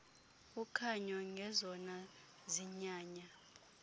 ukhanyo ngezona zinyanya